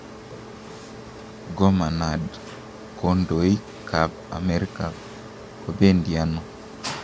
Gomanad kondoik ab Amerika kobendiano.